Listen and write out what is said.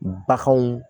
Baganw